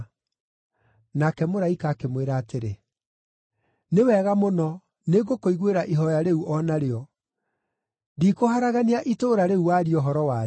Nake mũraika akĩmwĩra atĩrĩ, “Nĩ wega mũno, nĩngũkũiguĩra ihooya rĩu o narĩo; Ndikũharagania itũũra rĩu waria ũhoro warĩo.